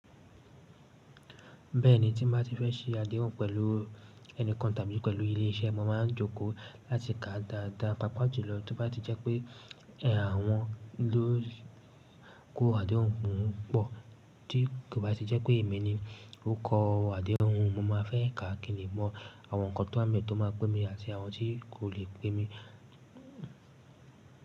Bẹ́ẹ̀ni, tí n bá ti fẹ́ sí adéhùn pẹ̀lú ẹnìkan tàbí pẹ̀lú ilé-iṣẹ́, mo máa ń jókòó láti kà dáadáa papajulọ tó bá ti jẹ́ pé iṣe àwọn ló kó adéhùn pupọ Tí kò bá ti jẹ́ pé èmi ni ó kó adéhùn, mo máa fẹ́ ká kín le mọ àwọn nkan tó wá n be tó máa pẹ́ mi àti àwọn tí kò lè pẹ́ mi.